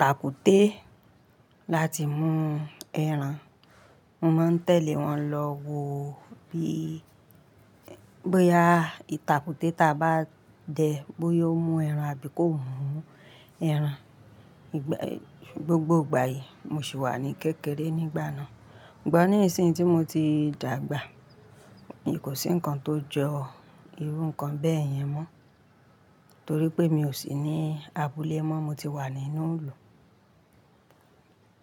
tàkúté láti mú ẹran. Mo máa ń tẹ̀lé wọn lọ wo bí, bóyá ìtàkúté ta bá dẹ bóyá ó mú ẹran àbí kò mú ẹran. Ìgbà, gbogbo ìgbà yìí mo sì wà ní kékeré nígbà náà. Sùgbón ní ìsìn ti mo ti dàgbà, kò sí ǹkan tó jọ irú ǹkan bẹ́ẹ̀ yẹn mọ́ torí pé mi ò sí ní abúlé mọ́. Mo ti wà nínú ìlú.